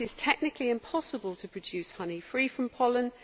It is technically impossible to produce honey free from pollen.